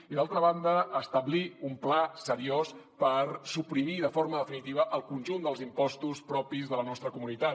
i d’altra banda establir un pla seriós per suprimir de forma definitiva el conjunt dels impostos propis de la nostra comunitat